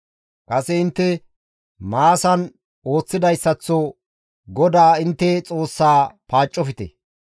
Kase intte Maasan ooththidayssaththo GODAA intte Xoossaa paaccofte.